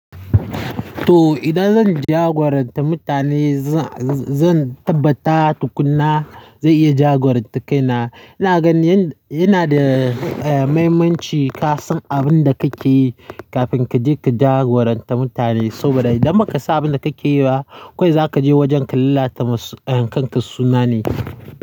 To, idan zan jagoranta mutane, zan tabbata tukuna zai iya jagoranta kaina. Ina ganin yana da, eh, muhimmanci ka san abin da kake yi kafin kaje ka jagoranta mutane. Saboda idan baka san abin da kake yi ba, kawai za kaje wajen ka lalata masu, eh, kanka suna ne.